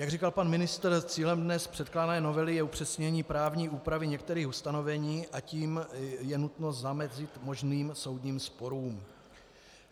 Jak říkal pan ministr, cílem dnes předkládané novely je upřesnění právní úpravy některých ustanovení, a tím je nutno zamezit možným soudním sporům.